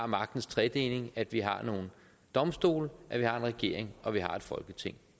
magtens tredeling at vi har nogle domstole at vi har en regering og at vi har et folketing